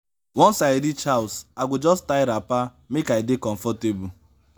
once i reach house i go just tie wrapper make i dey comfortable.